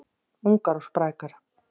Ungar og sprækar